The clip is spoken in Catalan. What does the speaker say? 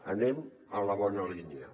anem en la bona línia